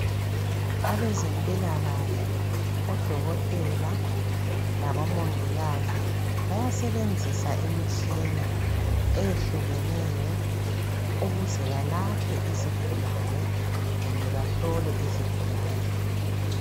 abezempilakahle odokotela labo mongikazi bayasebenzisa imitshina eyehlukeneyo ukuze balaphe izigulane kumbe bahlole izigulane